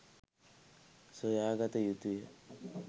සොයාගත යුතුය.